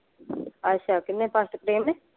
ਅੱਛਾ ਕਿੰਨੇ ਮਾਸਟਰ ਪ੍ਰੇਮ ਨੇ?